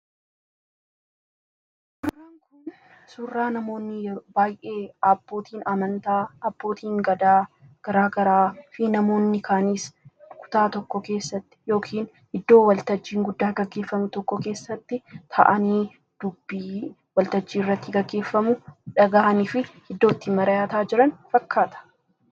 raankun surraa namoonni baayee abbootiin amantaa abbootiin gadaa garaa garaa fi namoonni kaaniis kutaa tokko keessatti yookin iddoo waltajjiiin guddaa gaggeeffamu tokko keessatti ta'anii dubbii waltajjii irratti gaggeeffamu dhaga'anii fi iddootti marayaataa jiran fakkaata